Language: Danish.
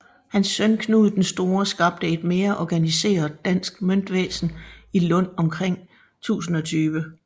Hans søn Knud den Store skabte et mere organiseret dansk møntvæsen i Lund omkring 1020